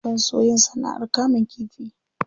Zan so yin sana'ar kamun kifi.